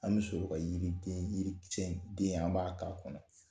An bɛ sɔrɔ ka yiri den, yiri cɛ den an b'a k'a kɔnɔ.